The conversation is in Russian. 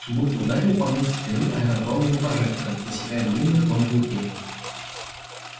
будто ударили по мне со спины аэродромные прожекторы высекая длинную тонкую тень